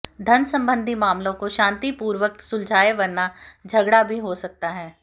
धन सम्बन्धी मामलों को शान्तिपूर्वक सुलझायें वरना झगड़ा भी हो सकता है